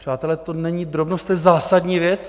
Přátelé, to není drobnost, to je zásadní věc.